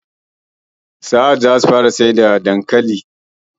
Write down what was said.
Sahad zasu fara siyar da ƙarau-ƙarau ɗin dankalin hausa